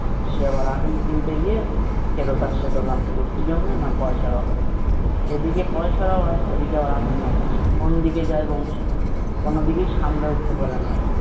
সে আবার আফিম কিনতে গিয়ে ফেরত আসছে দোকান থেকে কি জন্যে? না পয়সার অভাব। এদিকে পয়সার অভাব ওদিকে আবার আফিম এর নেশা কোন্ দিকে যায় বংশী? কোনো দিকে সামলে উঠতে পারে না।